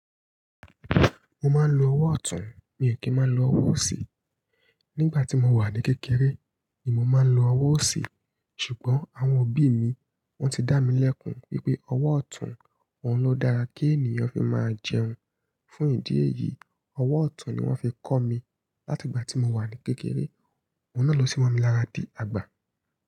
Mo máa ń lo ọwọ́ ọ̀tún, mii kí máa n lo ọwọ́ òsì. Nígbà tí mo wà ní kékeré ni mo máa ń lo ọwọ́ òsì. Ṣùgbọ́n àwọn òbí mi wọ́n ti dá mi lẹ́kun wípé ọwọ́ ọ̀tún, òun ló dára kí ènìyàn fi máa jẹun. Fún ìdí èyí, ọwọ́ ọ̀tún ni wón fi kọ́ mi láti ìgbà tí mo wà ní kékeré. Oun náà ló sì mo mi lára di àgbà.